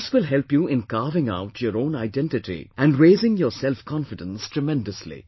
This will help you in carving out your own identity and raising your selfconfidence tremendously